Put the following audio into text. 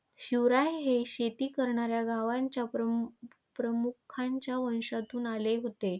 शिवराय हे शेती करणाऱ्या गावांच्या प्रमुखांच्या वंशातून आले होते.